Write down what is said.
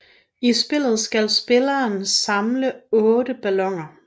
I spillet skal spilleren skal samle 8 balloner